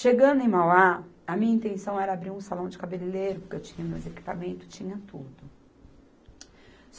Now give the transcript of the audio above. Chegando em Mauá, a minha intenção era abrir um salão de cabeleireiro, porque eu tinha meus equipamentos, tinha tudo.